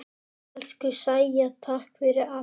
Elsku Sæja, takk fyrir allt.